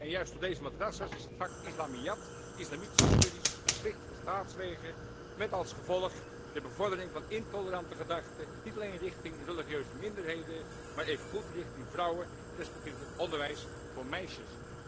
En juist op deze madrassa' s is het vak islamiat, islamitische studies, verplicht van staatswege met als gevolg de bevordering van intolerante gedachten, niet alleen jegens religieuze minderheden, maar evengoed jegens vrouwen en respectievelijk over onderwijs voor meisjes.